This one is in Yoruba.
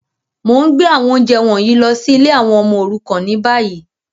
Mo n gbé àwọn ounjẹ wọ̀nyí lọ si ìlé àwon ọmọ òrukàn ni bayi.